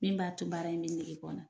Min b'a to baara in bɛ nege bɔ n na.